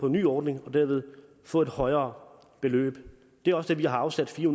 nye ordning og derved få et højere beløb det er også det vi har afsat fire